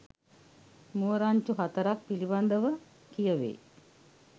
මුව රංචු හතරක් පිළිබඳ ව කිය වේ.